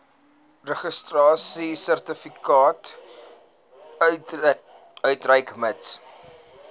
registrasiesertifikaat uitreik mits